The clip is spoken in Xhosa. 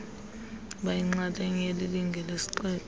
bayinxalenye yelilinge lesisixeko